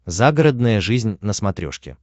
загородная жизнь на смотрешке